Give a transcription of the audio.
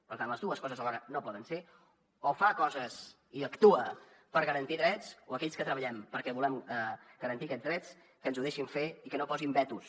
per tant les dues coses alhora no poden ser o fa coses i actua per garantir drets o aquells que treballem perquè volem garantir aquests drets que ens ho deixin fer i que no posin vetos